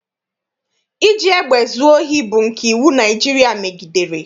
Iji egbe zuo ohi bụ nke iwu Naịjirịa megidere.